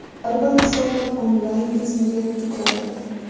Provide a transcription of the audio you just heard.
Har bir hisobot onlayn tizimga yuklanadi.